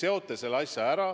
– seote need asjad.